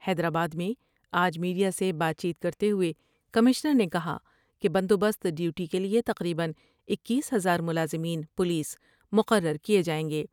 حیدرآباد میں آج میڈیا سے بات چیت کرتے ہوۓ کمشنر نے کہا کہ بندوبست ڈیوٹی کیلئے تقریبا اکیس ہزار ملازمین پولیس مقرر کئے جائیں گے ۔